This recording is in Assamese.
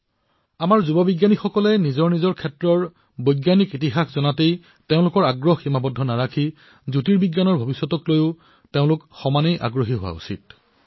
আজি আমাৰ যুৱ বিজ্ঞানীসকলৰ মাজত কেৱল নিজৰ বৈজ্ঞানিক ইতিহাসৰ বিষয়ে জনাৰ অভিস্পা জাগ্ৰত হোৱাই নহয় বৰঞ্চ তেওঁলোকে জ্যোতিৰ্বিজ্ঞানৰ ভৱিষ্যতকলৈও এক দৃঢ় ইচ্ছাশক্তি প্ৰকাশ কৰে